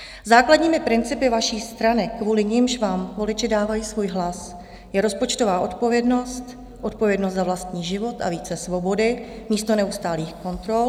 Základními principy vaší strany, kvůli nimž vám voliči dávají svůj hlas, je rozpočtová odpovědnost, odpovědnost za vlastní život a více svobody místo neustálých kontrol.